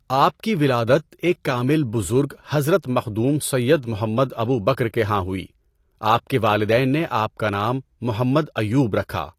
آپ کی ولادت ایک کامل بزرگ حضرت مخدوم سیّد محمد ابو بکر کے ہاں ہوئی، آپ کے والدین نے آپ کا نام محمد ایوب رکھا۔